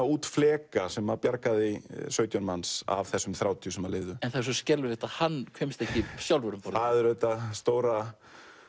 út fleka sem bjargaði sautján manns af þessum þrjátíu sem lifðu en það er svo skelfilegt að hann kemst ekki sjálfur um borð það er auðvitað stóra